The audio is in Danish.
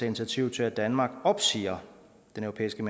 initiativ til at danmark opsiger den europæiske